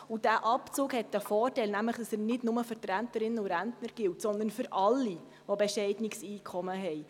Dieser Abzug hat den Vorteil, dass er nicht nur für Rentnerinnen und Rentner gilt, sondern für alle, die ein bescheidenes Einkommen haben.